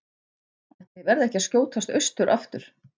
Ætli ég verði ekki að skjótast austur aftur.